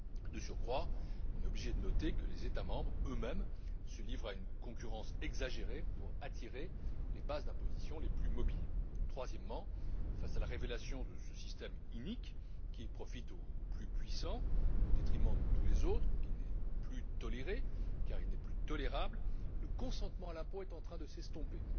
De surcroît, force est de constater que les États membres, eux mêmes, se livrent à une concurrence exagérée pour attirer les bases d'imposition les plus mobiles. Troisièmement, face à la révélation de ce système inique, qui profite aux plus puissants, au détriment de tous les autres et qui n'est plus toléré car il n'est plus tolérable le consentement à l'impôt est en train de s'estomper.